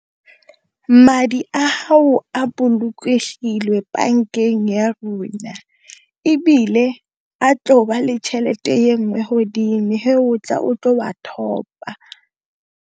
Madi a gago a bolokegile bankeng ya rona, ebile a tlo ba le tšhelete ye nngwe godimo o tla, o tla go a top-a.